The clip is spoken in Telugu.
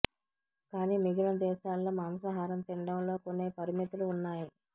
కాని మిగిలిన దేశాల్లో మాంసాహారం తినడంలో కొన్ని పరిమితులు ఉన్నాయి